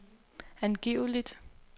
angiveligt